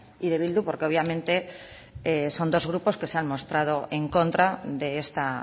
y de bildu porque obviamente son dos grupos que se han mostrado en contra de esta